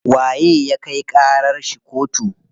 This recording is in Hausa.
Waye ya kai ƙarar shi kotu?